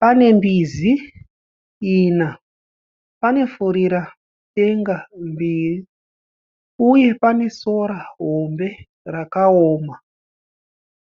Pane mbizi ina , panefurira denga mbiri , uye pane sora hombe rakaoma.